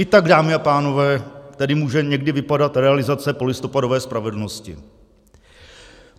I tak, dámy a pánové, tedy může někdy vypadat realizace polistopadové spravedlnosti.